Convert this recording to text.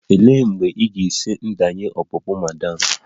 Olee mgbe ị ga-esi ndenye ọpụpụ ma'am?